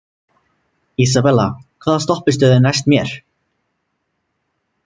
Isabella, hvaða stoppistöð er næst mér?